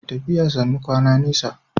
Tafiya sannu kwana nesa.